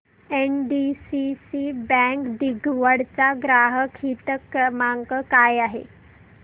NDCC bank दिघवड चा ग्राहक हित क्रमांक काय आहे